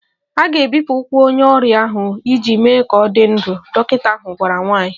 A ga-ebipụ ụkwụ onye ọrịa ahụ iji mee ka ọ dị ndụ, dọkịta ahụ gwara nwanyị